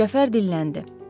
Cəfər dilləndi.